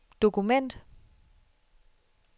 dokument